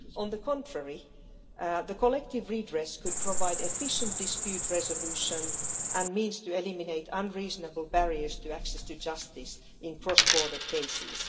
On the contrary collective redress could provide efficient dispute resolution and the means to eliminate unreasonable barriers to access to justice in cross-border cases.